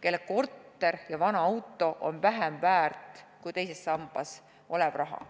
kelle korter ja vana auto on vähem väärt kui teises sambas olev raha.